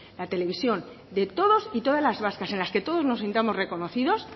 la televisión de todos y todas las vascas en las que todos nos sintamos reconocidos